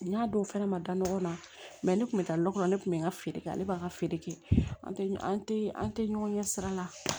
N y'a don o fɛnɛ ma da ɲɔgɔn na ne kun bɛ taa lɔgɔ kɔnɔ ne kun bɛ n ka feere kɛ ale b'an ka feere kɛ an tɛ an tɛ ɲɔgɔn ɲɛ sira la